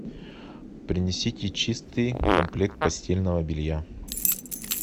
принесите чистый комплект постельного белья